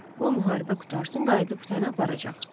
Qoy müharibə qurtarsın, qayıdıb səni aparacaq.